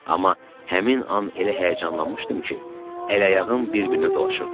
Amma həmin an elə həyəcanlanmışdım ki, əl-ayağım bir-birinə dolaşırdı.